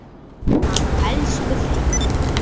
Hann elsku Hreinn.